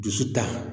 Dusu ta